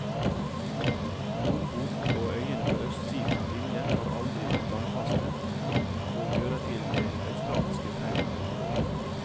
Lombok og øyene på østsiden av linjen har aldri vært landfaste, og hører til det australske faunaområdet.